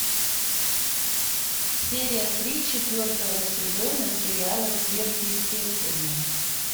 серия три четвертого сезона сериала сверхъестественное